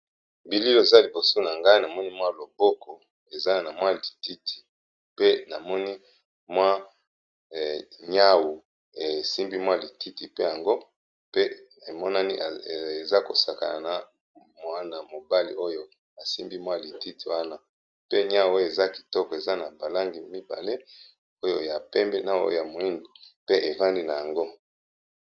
bili oyo eza liboso na ngai namoni mwa loboko eza na mwa lititi pe namoni mwa nyau esimbi mwa lititi pe yango pe emonani eza kosakana na mwana mobali oyo asimbi mwa lititi wana pe niau oyo eza kitoko eza na balangi mibale oyo ya pembe na oyo ya moindo pe efandi na yango.